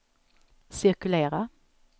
cirkulera